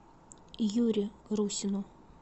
юре русину